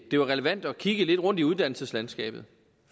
det var relevant at kigge lidt rundt i uddannelseslandskabet